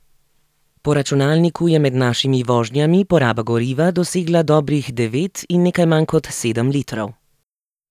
Po računalniku je med našimi vožnjami poraba goriva dosegla dobrih devet in nekaj manj kot sedem litrov.